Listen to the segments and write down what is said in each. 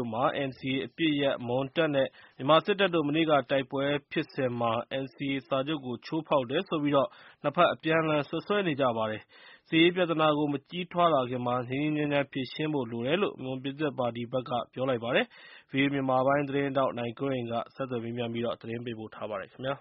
ို့မှာ NCA အပစ်ရပ် မွန်တပ်နဲ့ မြန်မာစစ်တပ်တို့ မနေ့က တိုက်ပွဲဖြစ်စဉ်မှာ NCA စာချုပ်ကို ချိုးဖောက်တယ်ဆိုပြီး နှစ်ဖက် အပြန်အလှန် စွပ်စွဲနေကြပါတယ်။ စစ်ရေးပြဿနာကို မကြီးထွားလာခင်မှာ ငြိမ်းငြိမ်းချမ်းချမ်း ဖြေရှင်းလိုတယ်လို့ မွန်ပြည်သစ်ပါတီဘက်က ပြောပါတယ်။ အပြည့်အစုံကို ဗွီအိုအေ မြန်မာပိုင်းသတင်းထောက် နိုင်ကွန်းအိန်က ဆက်သွယ်မေးမြန်း သတင်းပေးပို့ထားပါတယ်။ ဘုရား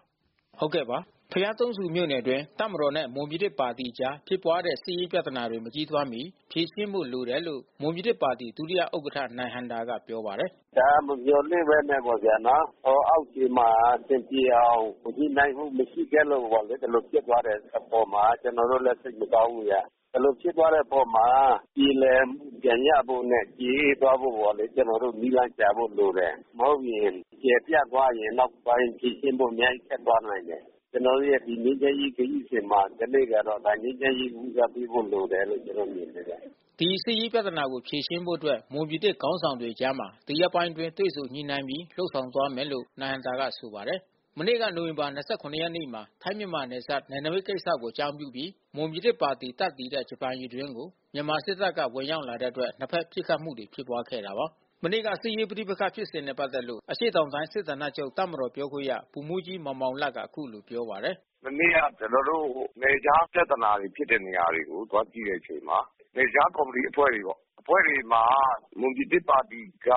သုံးဆူမြို့နယ်အတွင်း တပ်မတော်နဲ့ မွန်ပြည်သစ်ပါတီတို့အကြား ဖြစ်ပွားခဲ့တဲ့ စစ်ရေးပဋိပက္ခတွေ မကြီးထွားမီ ဖြေရှင်းဖို့လိုတယ်လို့ မွန်ပြည်သစ်ပါတီ ဒုတိယဥက္ကဋ္ဌ နိုင်ဟံသာက ပြောပါတယ်။ “ဒါက မမျှော်လင့်ဘဲနဲ့ပေါ့ဗျာနော်။ အောက်ခြေမှာ အဆင်ပြေအောင် ညှိနှိုင်းမှု မရှိခဲ့လို့ပေါ့လေ။ ဒီလိုဖြစ်သွားတဲ့အပေါ်မှာ ကျနော်တို့လည်း စိတ်မကောင်းဘူးဗျ။ ဒီလိုဖြစ်ပွားတဲ့အပေါ်မှာ ပြေလည်မှု ပြန်ရဖို့နဲ့ ကျေအေးသွားဖို့ပေါ့လေ။ ကျနော်တို့ နည်းလမ်းရှာဖို့လိုတယ်။ မဟုတ်ရင် ကျယ်ပြန့်သွားရင် နောက်ပိုင်းအထိ ရှင်းဖို့ခက်သွားလိမ့်မယ်။ ကျနော်တို့ရဲ့ ငြိမ်းချမ်းရေးခရီးစဉ်မှာ ကနေ့ကတော့ ငြိမ်းချမ်းရေးကို ဦးစားပေးဖို့လိုတယ်လို့ ကျနော်တို့ မြင်တယ်ဗျ။” ဒီစစ်ရေးပြဿနာကို ဖြေရှင်းဖို့အတွက် မွန်ပြည်သစ်ခေါင်းဆောင်တွေ အကြားမှာ ဒီရက်ပိုင်းအတွင်း တွေ့ဆုံညှိနှိုင်းပြီး လုပ်ဆောင်သွားမယ်လို့ နိုင်ဟံသာက ဆိုပါတယ်။ မနေ့က နိုဝင်ဘာ ၂၇ ရက်နေ့မှာ ထိုင်း-မြန်မာနယ်စပ် နယ်နိမိတ်ကိစ္စကို အကြောင်းပြုပြီး မွန်ပြည်သစ်ပါတီ တပ်တည်တဲ့ ဂျပန်ရေတွင်းကို မြန်မာစစ်တပ်က ဝင်ရောက်လာတဲ့အတွက် နှစ်ဖက်ပစ်ခတ်မှုတွေ ဖြစ်ပွားခဲ့တာပါ။ မနေ့က စစ်ရေးပဋိပက္ခဖြစ်စဉ်နဲ့ ပတ်သက်လို့ အရှေ့တောင်တိုင်း စစ်ဌာနချုပ် တပ်မတော်ပြောခွင့်ရ ဗိုလ်မှူးကြီး မောင်မောင်လတ်က အခုလိုပြောပါတယ်။ “မနေ့က ကျနော်တို့ နယ်ခြားပြဿနာဖြစ်တဲ့ နေရာတွေကို သွားကြည့်တဲ့အချိန်မှာ နယ်ခြားကော်မတီ အဖွဲ့တွေပေါ့။ အဖွဲ့တွေမှာ မွန်ပြည်သစ်ပါတီက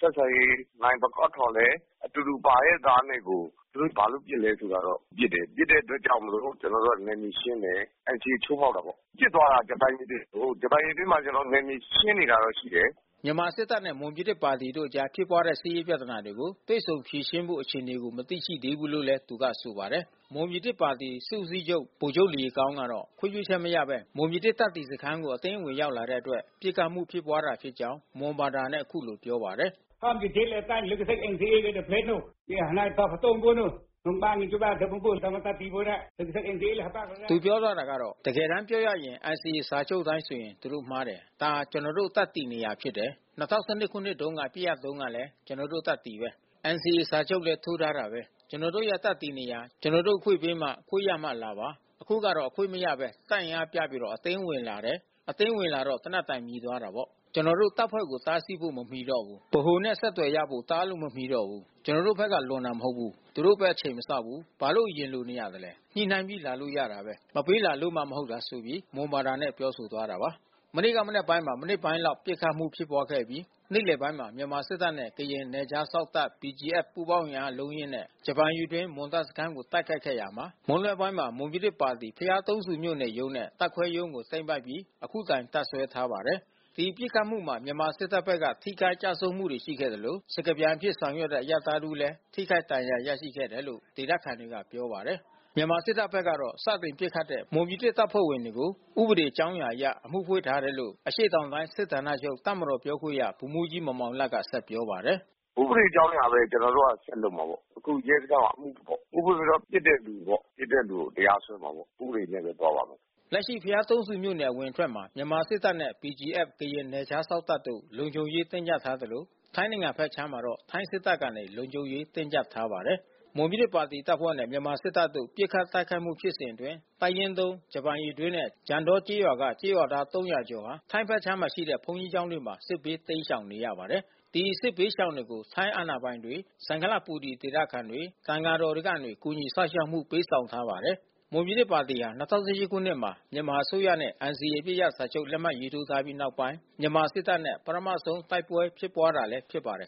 ဆက်ဆံရေး နိုင်ပကောင်းထောလည်း အတူတူပါရဲ့သားနဲ့ကို သူတို့ဘာလို့ပစ်လဲဆိုတာတော့၊ ပစ်တယ်၊ ပစ်တဲ့အတွက်ကြောင့်မို့လို့ ကျနော်တို့က နယ်မြေရှင်းတယ်။ NCA ချိုးဖောက်တာပေါ့။ ပစ်သွားတာ ဂျပန်ရေတွင်းကိုး။ ဂျပန်ရေတွင်းမှာ ကျနေ်ာတို့ နယ်မြေရှင်းနေတာတော့ ရှိတယ်။” မြန်မာစစ်တပ်နဲ့ မွန်ပြည်သစ်ပါတီတို့အကြား ဖြစ်ပွားတဲ့ စစ်ရေးပြဿနာကို တွေ့ဆုံဖြေရှင်းဖို့ အခြေအနေကို မသိရှိသေးဘူးလို့ သူကဆိုပါတယ်။ မွန်ပြည်သစ်ပါတီ စစ်ဦးစီးချုပ် ဗိုလ်ချုပ်လယီကောင်းကတော့ ခွင့်ပြုချက်မရသေးဘဲ မွန်ပြည်သစ်တပ်တည်စခန်းကို အတင်းဝင်ရောက်လာတဲ့အတွက် ပစ်ခတ်မှု ဖြစ်ပွားတာဖြစ်ကြောင်း မွန်ဘာသာနဲ့ အခုလိုပြောပါတယ်။ “တကယ်တမ်းပြောရရင် NCA စာချုပ်အတိုင်းဆိုရင် သူတို့မှားတယ်။ ဒါ ကျနော်တို့ တပ်တည်နေရာဖြစ်တယ်။ ၂၀၁၂ ခုနှစ် အပစ်ရပ်တုန်းကလည်း ကျနော်တို့တပ်တည်ပဲ။ NCA စာချုပ်လည်း ထိုးထားတာပဲ။ ကျနော်တို့ရဲ့ တပ်တည်နေရာ ကျနော်တို့ အခွင့်ပေးမှ ခွင့်ရမှလာပါ။ အခုဟာက အခွင့်မရဘဲ တပ်အင်အားပြပြီးတော့ အတင်းဝင်လာတယ်။ အတင်းဝင်လာတော့ သေနတ်သံ မြည်သွားတာပေါ့။ ကျနော်တို့တပ်ဖွဲ့တွေကို တားဆီးဖို့ မမီတော့ဘူး။ ဗဟိုနဲ့ အဆက်သွယ်ရဖို့ တားလို့မမီတော့ဘူး။ ကျနော်တို့ဘက်က လွန်တာမဟုတ်ဘူး။ သူတို့ပဲ အချိန်မစောင့်ဘူး။ ဘာလို့ အရင်လိုနေတာလဲ။ ညှိနှိုင်းပြီး လာလို့ရတာပဲ။ မပေးလာလို့မှ မဟုတ်တာ။” မနေ့က မနက်ပိုင်းမှာ မိနစ်ပိုင်းလောက် ပစ်ခတ်မှုဖြစ်ပွားအပြီး နေ့လယ်ပိုင်းမှာ မြန်မာစစ်တပ်နဲ့ ကရင်နယ်ခြားစောင့်တပ် BGF ပူးပေါင်းအင်အား အလုံးအရင်းနဲ့ ဂျပန်ရေတွင်း မွန်တပ်စခန်းကို တိုက်ခိုက်ခဲ့တာမှာ မွန်းလွဲပိုင်းမှာ မွန်ပြည်သစ်ပါတီ ဘုရားသုံးဆူမြို့နယ်ရုံးနဲ့ တပ်ခွဲရုံးကို သိမ်းပိုက်ခဲ့ပြီး အခုတိုင် တပ်စွဲထားပါတယ်။ ဒီပစ်ခတ်မှုမှာ မြန်မာစစ်တပ်ဘက်က ထိခိုက်ကျဆုံးမှုတွေ ရှိခဲ့သလို စကားပြန်အဖြစ် ဆောင်ရွက်တဲ့ အရပ်သားတဦးလည်း ထိခိုက်ဒဏ်ရာ ရရှိခဲ့တယ်လို့ ဒေသခံတွေက ပြောပါတယ်။ မြန်မာစစ်တပ်ဘက်က စတင်ပစ်ခတ်တဲ့ မွန်ပြည်သစ်တပ်ဖွဲ့ဝင်တွေကို ဥပဒေအကြောင်းရာအရ အမှုဖွင့်ထားတယ်လို့ အရှေ့တောင်တိုင်း စစ်ဌာနချုပ် တပ်မတော်ပြောခွင့်ရ ဗိုလ်မှူးကြီး မောင်မောင်လတ်က ပြောပါတယ်။ “ဥပဒေကြောင်းအရပဲ ကျနော်တို့ ဆက်လုပ်မှာပေါ့။ အခုရဲစခန်းမှာ အမှုဖွင့်ထားတယ်။ ဥပဒေတော့ ပစ်တဲ့လူကိုပေါ့။ ပစ်တဲ့လူကို တရားစွဲမှာပေါ့။ ဥပဒေနဲ့ပဲသွားမယ်။” လက်ရှိ ဘုရားသုံးဆူမြို့နယ် အဝင်အထွက်မှာ မြန်မာစစ်တပ်နဲ့ BGF ကရင်နယ်ခြားစောင့်တပ်တို့ လုံခြုံရေးတင်းကျပ်ထားသလို ထိုင်းနိုင်ငံဘက်ခြမ်းမှာတော့ ထိုင်းစစ်တပ်ကနေ လုံခြုံရေး တင်းကျပ်ထားပါတယ်။ မွန်ပြည်သစ်ပါတီတပ်ဖွဲ့နဲ့ မြန်မာစစ်တပ်တို့ ပစ်ခတ်တိုက်ခိုက်မှု ဖြစ်စဉ်အတွင်း တပ်ရင်း ၃ ဂျပန်ရေတွင်းနဲ့ ကြံတောကျေးရွာက ကျေးရွာသား ၃၀၀ ကျော်ဟာ ထိုင်းဘက်ခြမ်းမှာရှိတဲ့ ဘုန်းကြီးကျောင်းတွေမှာ စစ်ဘေးတိမ်းရှောင်နေရပါတယ်။ ဒီစစ်ဘေးရှောင်တွေကို ထိုင်းအာဏာပိုင်တွေ စံခလပူရီ ဒေသခံတွေ သံဃာတော်တွေကနေ ကူညီစောင့်ရှောက်မှု ပေးထားပါတယ်။ မွန်ပြည်သစ်ပါတီဟာ ၂၀၁၈ ခုနှစ်မှာ မြန်မာအစိုးရနဲ့ NCA အပစ်ရပ်စာချုပ် လက်မှတ်ရေးထိုးထားပြီးနောက်ပိုင်း မြန်မာစစ်တပ်နဲ့ ပထမဆုံးတိုက်ပွဲ ဖြစ်ပွားတာလည်း ဖြစ်ပါတယ်